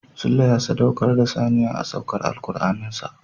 Sule ya sadaukar da saniya a saukar Alkur'anin sa.